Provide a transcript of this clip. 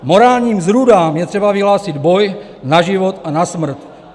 Morálním zrůdám je třeba vyhlásil boj na život a na smrt.